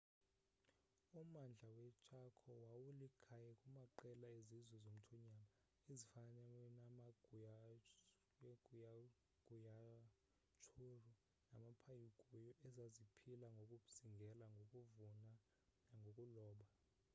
ummandla weechaco wawulikhaya kumaqela ezizwe zomthonyama ezifana namaguaycurú namapayaguá ezaziphila ngokuzingela ngokuvuna nangokuloba